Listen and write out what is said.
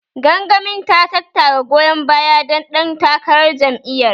Gangamin ta tattara goyon bayan dan ɗan takarar jam'iyyar.